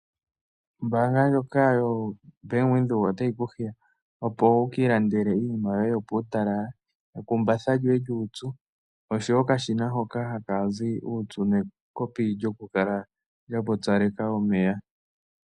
Ombaanga ndjoka yoBankWindhoek otayi ku hiya opo wu kiilandele iinima yoye yopuutala. Ekumbatha lyoye lyuupyu oshowo okashina hoka haka zi uupyu, nekopi lyokukala lya pupyaleka omeya.